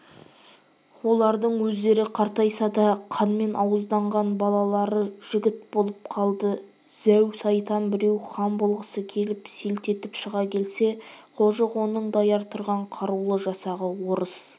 олардың өздері қартайса да қанмен ауызданған балалары жігіт болып қалды зәу-сайтан біреу хан болғысы келіп селт етіп шыға келсе қожық оның даяр тұрған қарулы жасағы орыс